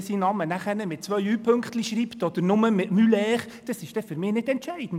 Ob er seinen Namen dann mit Ü-Pünktchen schreibt, oder nur mit «ue», ist für mich nicht entscheidend.